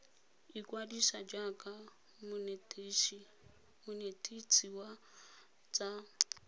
ikwadisa jaaka monetetshi wa tsa